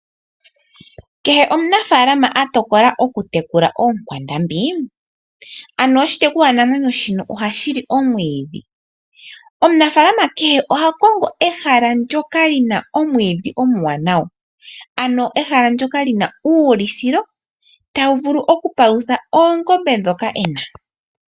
Kehe omunafalama a tokola okutekula oonkwandambi, ano oshitekulwanamwenyo shono ohashi li omwiidhi. Omunafalama kehe oha kongo ehala ndoka lina omwiidhi omuwanawa. Ano ehala ndoka lina uulithilo tawu vulu okupalutha oongombe dhoka ena.